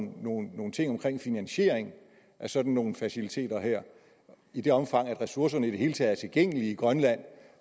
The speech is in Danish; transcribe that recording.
nogle nogle ting omkring finansiering af sådan nogle faciliteter her i det omfang ressourcerne i det hele taget er tilgængelige i grønland